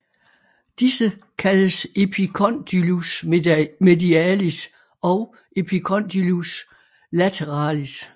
Disse kaldes epicondylus medialis og epicondylus lateralis